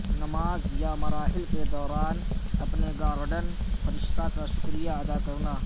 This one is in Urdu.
نماز یا مراحل کے دوران اپنے گارڈین فرشتہ کا شکریہ ادا کرنا